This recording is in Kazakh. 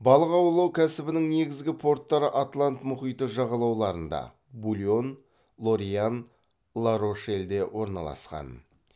балық аулау кәсібінің негізгі порттары атлант мұхиты жағалауларында булонь лорьян ла рошельде орналасқан